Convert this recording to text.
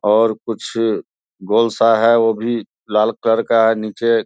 और कुछ गोल-सा है वो भी लाल कलर का है नीचे --